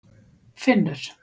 Finnur